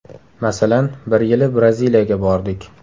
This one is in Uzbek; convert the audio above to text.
Masalan, bir yili Braziliyaga bordik.